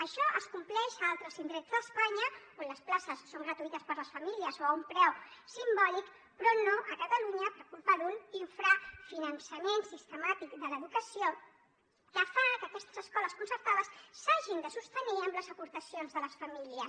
això es compleix a altres indrets d’espanya on les places són gratuïtes per a les famílies o a un preu simbòlic però no a catalunya per culpa d’un infrafinançament sistemàtic de l’educació que fa que aquestes escoles concertades s’hagin de sostenir amb les aportacions de les famílies